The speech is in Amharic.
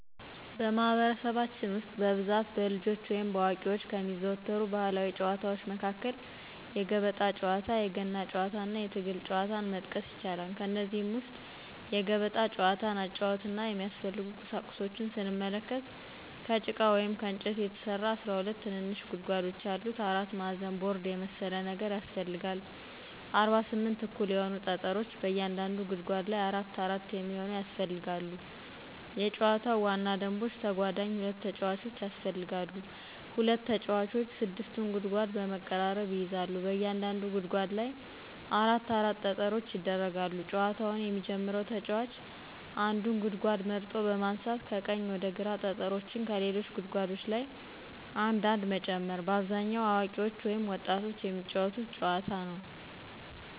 በማህበረሰባችን ውስጥ በብዛት በልጆች ወይም በአዋቂዎች ከሚዘወተሩ ባህላዊ ጨዋታዎች መካከል የገበጣ ጨዋታ፣ የገና ጨዋታና የትግል ጨዋታን መጥቀስ ይቻላል። ከእነዚህም ውስጥ የገበጣ ጨዋታን አጨዋወትና የሚያስፈልጉ ቁሳቁሶችን ስንመለከት፦ ከጭቃ ወይም ከእንጨት የተሰራ 12 ትንንሽ ጉድጓዶች ያሉት አራት ማዕዘን ቦርድ የመሰለ ነገር ያሰፈልጋል፣ 48 እኩል የሆኑ ጠጠሮች በእያንዳንዱ ጉድጓድ ላይ አራት አራት የሚሆኑ ያስፈልጋሉ የጨዋታው ዋና ደንቦች ተጓዳኝ ሁለት ተጫዋቾች ያስፈልጋሉ፣ ሁለት ተጫዋቾች 6ቱን ጉድጓድ በመቀራረብ ይይዛሉ፣ በእያንዳንዱ ጉድጓድ ላይ አራት አራት ጠጠሮች ይደረጋሉ፣ ጨዋታውን የሚጀመረው ተጫዋች አንዱን ጉድጓድ መርጦ በማንሳት ከቀኝ ወደ ግራ ጠጠሮችን ከሌሎች ጉድጓዶች ላይ አንድ አንድ መጨመር። በአብዛኛው አዋቂዎች ወይም ወጣቶች የሚጫወቱት ጨዋታ ነዉ።